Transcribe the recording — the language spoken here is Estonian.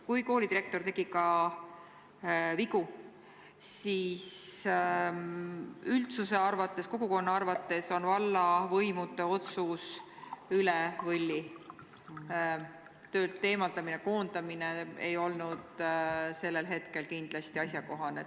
Kui koolidirektor tegigi vigu, siis üldsuse arvates, kogukonna arvates on vallavõimude otsus üle võlli: töölt eemaldamine, koondamine ei olnud kindlasti asjakohane.